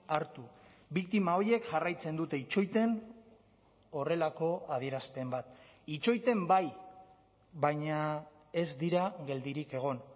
hartu biktima horiek jarraitzen dute itxoiten horrelako adierazpen bat itxoiten bai baina ez dira geldirik egon